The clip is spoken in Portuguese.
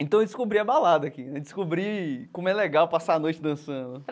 Então eu descobri a balada aqui né, descobri como é legal passar a noite dançando.